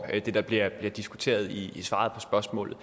det der bliver diskuteret i svaret på spørgsmålet